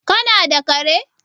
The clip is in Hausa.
kana da kare?